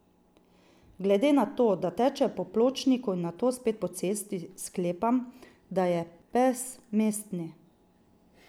Glede na to, da teče po pločniku in nato spet po cesti, sklepam, da je pes mestni.